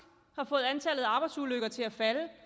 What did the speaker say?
har fået antallet af arbejdsulykker til at falde